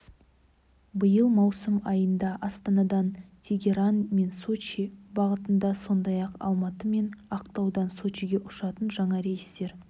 биыл маусым айында астанадан тегеран мен сочи бағытында сондай-ақ алматы мен ақтаудан сочиге ұшатын жаңа рейстер